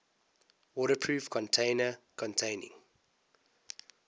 waterproof container containing